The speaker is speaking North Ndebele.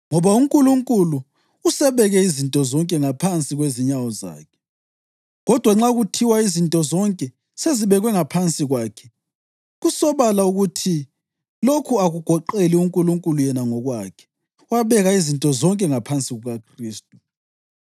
Ngoba uNkulunkulu “usebeke izinto zonke ngaphansi kwezinyawo zakhe.” + 15.27 AmaHubo 8.6 Kodwa nxa kuthiwa “izinto zonke” sezibekwe ngaphansi kwakhe, kusobala ukuthi lokhu akugoqeli uNkulunkulu yena ngokwakhe, owabeka izinto zonke ngaphansi kukaKhristu.